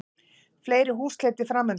Fleiri húsleitir framundan